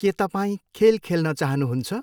के तपाईँ खेल खेल्न चाहनुहुन्छ?